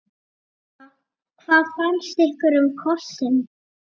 Helga: Hvað fannst ykkur um kossinn?